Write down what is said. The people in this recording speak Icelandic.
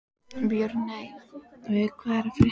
Björney, hvað er að frétta?